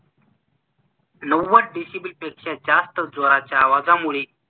नव्वद डेसिबलपेक्षा जास्‍त जोराच्या आवाजामुळे